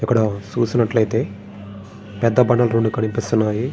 ఇక్కడ చూసినట్లయితే పెద్ద బండలు రెండు కనిపిస్తున్నాయి.